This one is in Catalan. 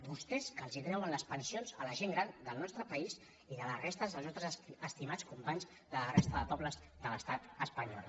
vostès que els treuen les pensions a la gent gran del nostre país i de la resta dels nostres estimats companys de la resta de pobles de l’estat espanyol